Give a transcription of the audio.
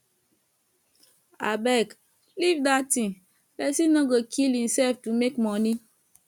abeg leave dat thing person no go kill himself to make money